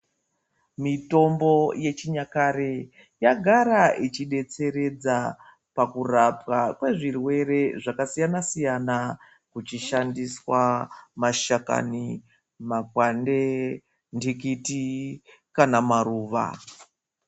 Mitombo yechinyakare yagara ichidetseredza pakurapwa kwezvirwere zvakasiyana siyana kuchishandiswa mashakani, makwande, ntikiti kana maruwa.